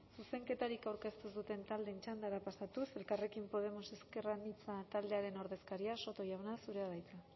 zuzenketarik aurkeztu ez duten taldeen txandara pasatuz elkarrekin podemos ezker anitza taldearen ordezkaria soto jauna zurea da hitza